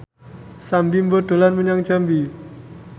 Sam Bimbo dolan menyang Jambi